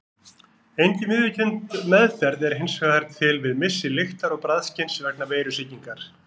Engin viðurkennd meðferð er hins vegar til við missi lyktar- og bragðskyns vegna veirusýkingar.